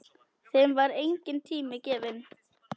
Þeim var enginn tími gefinn.